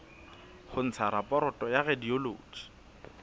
ho ntsha raporoto ya radiology